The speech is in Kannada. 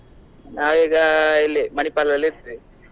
ನಾವ್ ಈಗ ಇಲ್ಲಿ Manipal ದಲ್ಲಿ ಇದ್ವಿ.